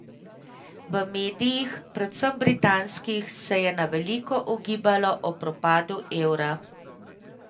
V medijih, predvsem britanskih, se je na veliko ugibalo o propadu evra.